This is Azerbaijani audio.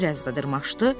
Bir az da dırmaşdı.